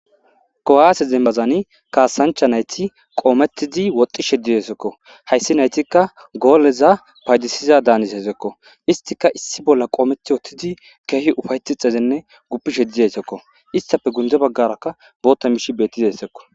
Kuwhaase zembazani kaasancha nayti qoomettidi woxxi sheddiyesekko hayssi naytikka gooleza paydisiza daanis esekko istika issi bolla qoometi wottidi keehi ufayti xezenne guppi sheddiyesekko istafe gunde baggaraka bootta mishi bettiza hessekko.